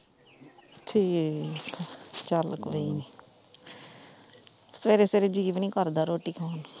ਠੀਕ ਆ, ਚੱਲ ਕੋਈ ਨੀ, ਸਵੇਰੇ ਸਵੇਰੇ ਜੀ ਵੀ ਨਹੀਂ ਕਰਦਾ ਰੋਟੀ ਖਾਣ ਨੂੰ।